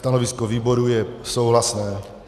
Stanovisko výboru je souhlasné.